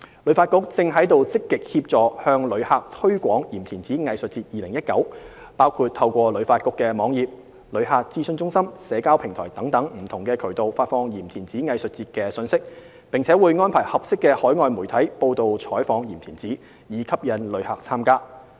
旅發局正積極協助向旅客推廣"鹽田梓藝術節 2019"， 包括透過旅發局網頁、旅客諮詢中心、社交平台等不同渠道發放鹽田梓藝術節的信息，並會安排合適的海外媒體報道採訪鹽田梓，以吸引旅客參加。